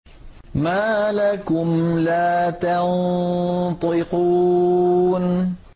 مَا لَكُمْ لَا تَنطِقُونَ